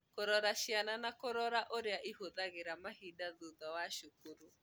Kũrora ciana na kũrora ũrĩa ihũthagĩra mahinda thutha wa cukuru.